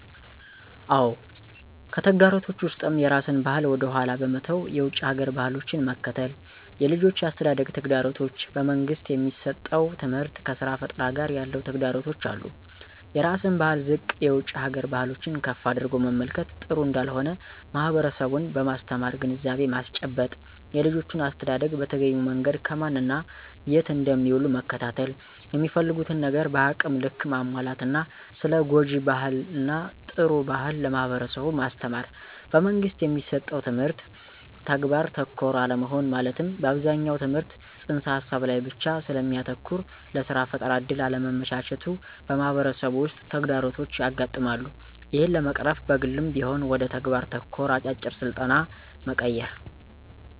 አዎ! ከተግዳሮቶች ውስጥም የራስን ባህል ወደ ኃላ በመተው የውጭ ሀገር ባህሎችን መከተል፣ የልጆች የአስተዳደግ ተግዳሮቶች፣ በመንግስት የሚሠጠው ትምህርት ከስራ ፈጠራ ጋር ያለው ተግዳሮቶች አሉ። -የራስን ባህል ዝቅ የውጭ ሀገር ባህሎችን ከፍ አድርጎ መመልከት ጥሩ እንዳልሆነ ማህበረሠቡን በማስተማር ግንዛቤ ማስጨበጥ። -የልጆችን አስተዳደግ በተገቢው መንገድ ከማን እና የት እንደሚውሉ መከታተል፣ የሚፈልጉትን ነገር በአቅም ልክ ማሟላት እና ስለ ጉጅ ባህል እና ጥሩ ባህል ለማህበረሠቡ ማስተማር። - በመንግስት የሚሠጠው ትምህርት ተግባር ተኮር አለመሆን መለትም አብዛኛው ትምህርት ተፅንስ ሀሳብ ላይ ብቻ ስለሚያተኩር ለስራ ፈጠራ እድል አለማመቻቸቱ በማህበረሠቡ ውስጥ ተግዳሮቶች ያጋጥማሉ። ይህን ለመቅረፍ በግልም ቢሆን ወደ ተግባር ተኮር አጫጭር ስልጠና መቀየር።